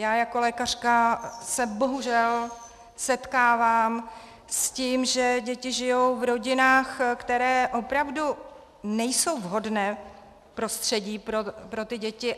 Já jako lékařka se bohužel setkávám s tím, že děti žijí v rodinách, které opravdu nejsou vhodné prostředí pro ty děti.